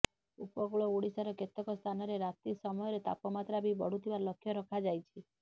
ଉପକୂଳ ଓଡ଼ିଶାର କେତେକ ସ୍ଥାନରେ ରାତି ସମୟର ତାପମାତ୍ରା ବି ବଢ଼ୁଥିବା ଲକ୍ଷ୍ୟ ରଖାଯାଇଛି